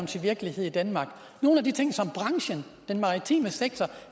til virkelighed i danmark nogle af de ting som branchen den maritime sektor